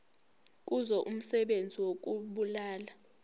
kuzo umsebenzi wokubulala